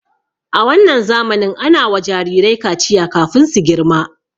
A wannan zamanin ana wa jirirai kaciya kafin su girma.